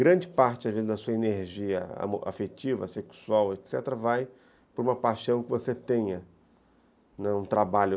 Grande parte, às vezes, da sua energia afetiva, sexual, etc., vai para uma paixão que você tenha, né, um trabalho